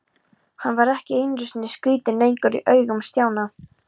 Hann var ekki einu sinni skrítinn lengur í augum Stjána.